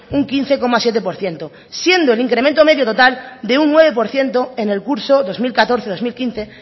un quince coma siete por ciento siendo el incremento medio total de un nueve por ciento en el curso dos mil catorce dos mil quince